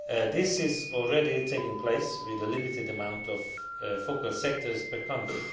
This is already taking place with a limited amount of focal sectors per country.